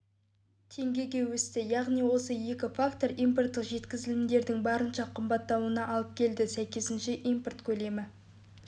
теңгеге өсті яғни осы екі фактор импорттық жеткізілімдердің барынша қымбаттауына алып келді сәйкесінше импорт көлемі